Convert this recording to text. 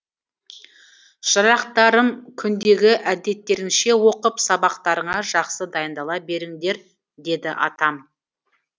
шырақтарым күндегі әдеттеріңше оқып сабақтарыңа жақсы дайындала беріңдер деді атам